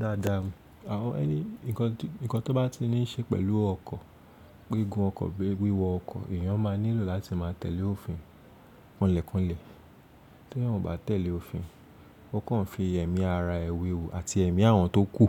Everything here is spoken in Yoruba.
Dáadáa, àwọn ẹ̀ní, ǹnkan tó bá ti ní ṣe pẹ̀lú ọkọ̀, gbégún ọkọ̀ bí wíwọ ọkọ̀, èyàn máa nílò láti máa tẹ̀lé òfin kanlẹ̀kanlẹ̀. Tí eeyan o bá tẹ̀lé òfin, ó kàn fi èmí ara ẹ wéwu àti èmí àwọn tó kú